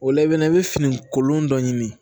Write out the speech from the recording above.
O la i bɛ na i bɛ fini kolon dɔ ɲini